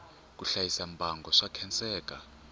ku hlayisa mbango swa khenseka